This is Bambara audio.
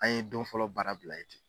An ye don fɔlɔ baara bila ye ten.